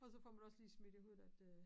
Og så får man også lige smidt i hovedet at øh